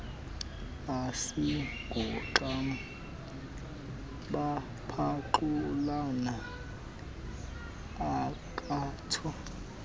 asingooxam bephaxulana akatsho